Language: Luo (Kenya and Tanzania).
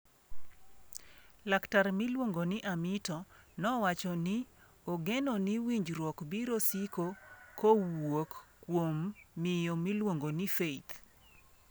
Laktar miluongo ni Amito nowacho ni ogeno ni winjruok biro siko kowuok kuom miyo miluongo ni Faith.